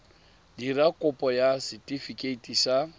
dira kopo ya setefikeiti sa